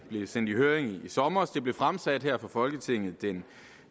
sendt i høring sidste sommer det blev fremsat her for folketinget den